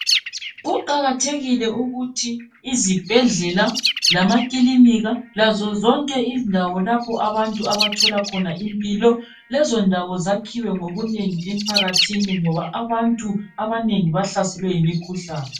Kuqakathekile ukuthi izibhedlela, lamakilinika lazo zonke indawo lapho abantu abathola khona impilo. Lezo ndawo zakhiwe ngobunengi emphakathini ngoba abantu abanengi bahlaselwe yimikhuhlane.